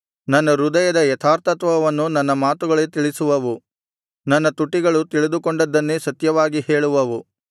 ನನ್ನ ಹೃದಯದ ಯಥಾರ್ಥತ್ವವನ್ನು ನನ್ನ ಮಾತುಗಳೇ ತಿಳಿಸುವವು ನನ್ನ ತುಟಿಗಳು ತಿಳಿದುಕೊಂಡದ್ದನ್ನೇ ಸತ್ಯವಾಗಿ ಹೇಳುವವು